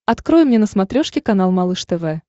открой мне на смотрешке канал малыш тв